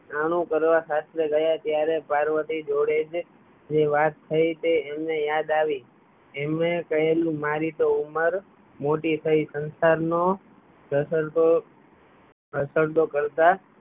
આનુ કરવા સાસરે ગયા ત્યારે પાર્વતી જોડે જે વાત થયી એ એમને યાદ આવી એમને કહેલુ મારી તો ઉંમર મોટી થયી સંસાર નો કરતા